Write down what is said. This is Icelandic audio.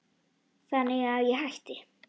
Þannig að ég hætti.